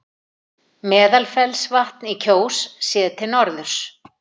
Meðalfellsvatn í Kjós, séð til norðurs.